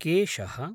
केशः